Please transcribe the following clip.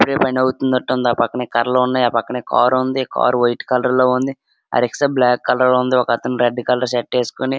పని అవుతున్నట్టు ఉంది. ఆ పక్కనే కర్రలున్నాయి. ఆ పక్కనే కార్ ఉంది. కార్ వైట్ కలర్ లో ఉంది. ఆ రిక్షా బ్లాక్ కలర్ లో ఉంది. ఒకతను రెడ్ కలర్ షర్ట్ ఏసుకొని --